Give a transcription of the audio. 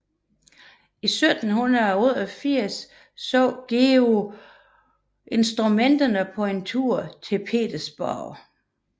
I 1788 så Georg Joseph Vogler Kirsniks instrument på en tur til Petersborg